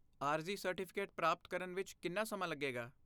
ਆਰਜ਼ੀ ਸਰਟੀਫਿਕੇਟ ਪ੍ਰਾਪਤ ਕਰਨ ਵਿੱਚ ਕਿੰਨਾ ਸਮਾਂ ਲੱਗੇਗਾ?